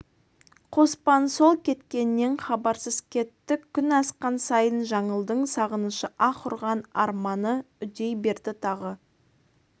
қоспан сол кеткеннен хабарсыз кетті күн асқан сайын жаңылдың сағынышы аһ ұрған арманы үдей берді тағы